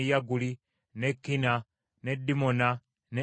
n’e Kina n’e Dimona, n’e Adada,